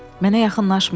Mənə yaxınlaşmayın.